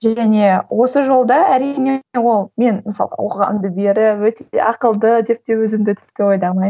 және осы жолда әрине ол мен мысалы оқығанымды беріп өте ақылды деп те өзімді тіпті ойламаймын